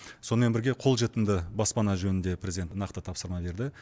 сонымен бірге қолжетімді баспана жөнінде президент нақты тапсырма берді